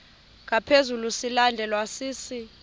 ngaphezu silandelwa sisi